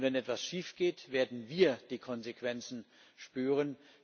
Denn wenn etwas schiefgeht, werden wir die Konsequenzen spüren.